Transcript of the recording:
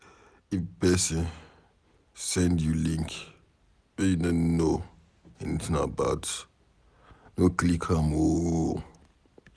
If pesin send you link wey you no know anything about, no click am oo.